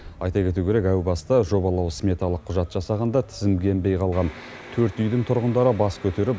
айта кету керек әу баста жобалау сметалық құжат жасағанда тізімге енбей қалған төрт үйдің тұрғындары бас көтеріп